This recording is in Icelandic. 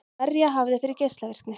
Verja hafið fyrir geislavirkni